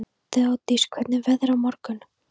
Þeódís, hvernig er veðrið á morgun?